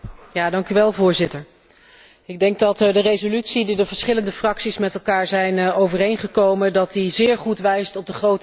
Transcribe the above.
Ik denk dat de resolutie die de verschillende fracties met elkaar zijn overeengekomen zeer goed wijst op de grote uitdagingen waar Irak voor staat.